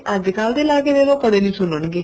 ਅੱਜਕਲ ਦੇ ਲਾਕੇ ਦੇਦੋ ਕਦੇ ਨੀ ਸੁਣਨਗੇ